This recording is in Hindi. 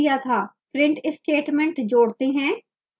print statement जोड़ते हैं